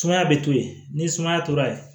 Sumaya be to yen ni sumaya tora yen